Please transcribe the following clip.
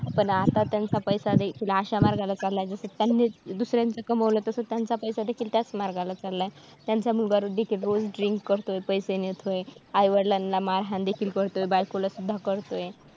पण आता त्यांचा पैसा देखील अश्या मार्गाला चालाय जस त्यांनीच दुसऱ्याचं कमवलं तस त्यांचा पैसादेखील त्याच मार्गाला चालाय त्यांचा मुलगा देखील रोज drink करतोय पैसे नेतोय आईवडिलांना मारहाण देखील करतोय बायकोला सुद्धा करतोय.